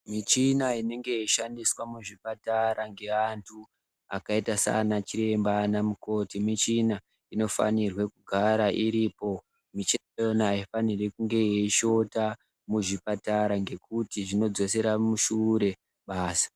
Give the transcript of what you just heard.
Michina inenge yekushandiswa muzvipatara nevanthu akaita saana chiremba ana mukoti, michina inofanirwe kugarairipo. Michina iyonayo aifaniri kushota muzvipatara ngekuti zvinodzosera mushure basa.